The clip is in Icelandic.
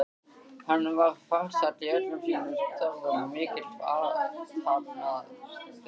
Hann var farsæll í öllum sínum störfum og mikill athafnamaður.